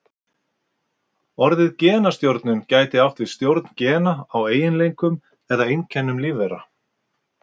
Orðið genastjórnun gæti átt við stjórn gena á eiginleikum eða einkennum lífvera.